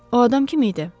O adam kim idi?